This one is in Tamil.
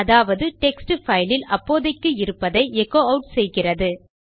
அதாவது டெக்ஸ்ட் பைல் இல் அப்போதைக்கு இருப்பதை எகோ அவுட் செய்கிறது